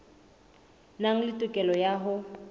nang le tokelo ya ho